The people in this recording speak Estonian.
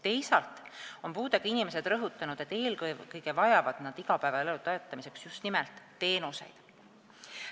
Teisalt on puudega inimesed rõhutanud, et eelkõige vajavad nad igapäevaelu toetamiseks just nimelt teenuseid.